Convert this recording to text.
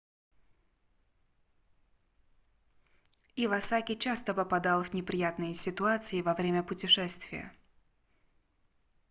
ивасаки часто попадал в неприятные ситуации во время путешествия